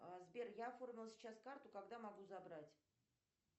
сбер я оформила сейчас карту когда могу забрать